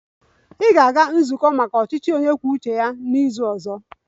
Ị ga-aga nzukọ maka ndị isi ọchịchị onye kwuo uche ya n'izu ọzọ!